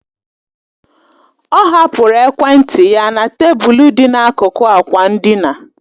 Ọ hapụrụ ekwentị ya na tebụl dị n'akụkụ ákwà ndina